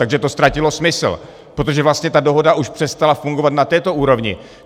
Takže to ztratilo smysl, protože vlastně ta dohoda už přestala fungovat na této úrovni.